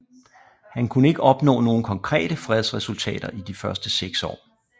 Han kunne ikke opnå nogen konkrete fredsresultater i de første seks år